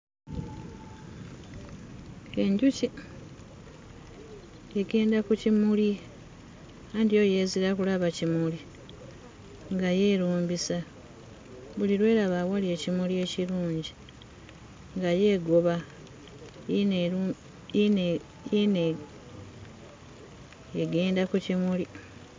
Enjuki egenda ku kimuli anti yo yeezira kulaba kimuli, nga yo erumbisa. Buli lw'eraba awali ekimuli ekirungi nga yo egoba, yiino eru yiino e yiino egenda ku kimuli.